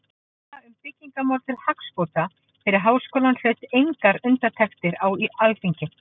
Þessi tillaga um byggingamál til hagsbóta fyrir Háskólann hlaut engar undirtektir á Alþingi.